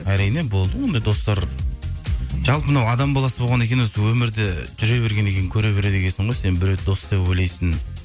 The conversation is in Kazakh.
әрине болды ондай достар жалпы мынау адам баласы болғаннан кейін осы өмірде жүре бергеннен кейін көре береді екенсің ғой сен біреуді дос деп ойлайсың